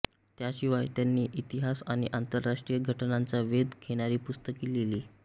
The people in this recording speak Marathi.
याशिवाय त्यांनी इतिहास आणि आंतरराष्ट्रीय घटनांचा वेध घेणारी पुस्तके लिहिली